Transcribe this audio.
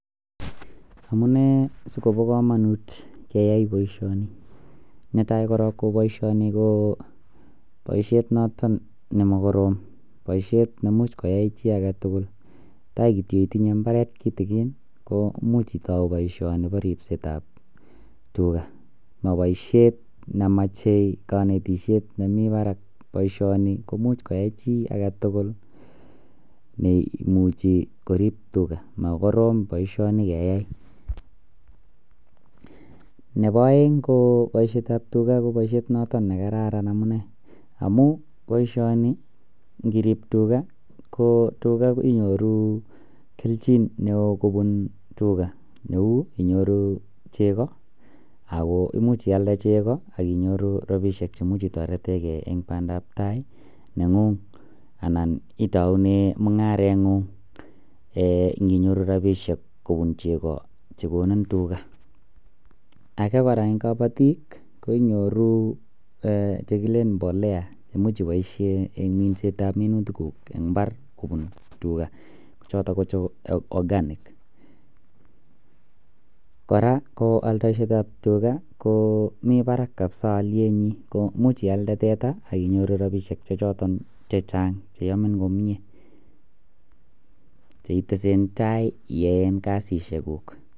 Amunee sikobo komonut keyai boishoni netai korong ko boishoni ko boishet noton nemokorom boishet neimuch koyai chii agetutuk tai kityok itinye imbaret kitikin imuch itou boishoni bo ripsetab tugaa, mo boishet nemoche konetishet nemii barak boishoni ko imuch koyai chii agetutuk neimuchi korip tugaa mokorom boishoni keyai. Nebo oeng ko boishetab tugaa ko boishet noton nekararan amunee amun boishoni ndirip tugaa ko tugaa inyoru keljin neo kobun tugaa neu inyoru cheko Ako imuch ialde cheko akinyoru rabishek che imuch intoretengee en pandap tai nenguny ana itoune mungarengung eeh nkinyoru rabishek kobun cheko chekoni tugaa. Age koraa en kobotik ko inyoru eeh chekiken mbolea cheimuch iboishen en mindetab minutik kuk en imbar kobun tugaa choto ko che organic. Koraa oldoishetab tugaa ko mii barak kabisa olyenyin imuch ialde teta akinyoru rabishek che choton chechang cheyomin komie che itesentai iyeen kasisiek kuk.